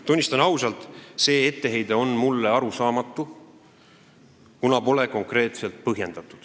Tunnistan ausalt, et see etteheide on mulle arusaamatu, kuna seda pole konkreetselt põhjendatud.